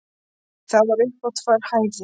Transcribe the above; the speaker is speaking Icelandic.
Það var upp á tvær hæðir.